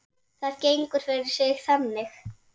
Það gengur fyrir sig þannig